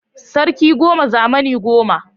Sarki goma, zamani goma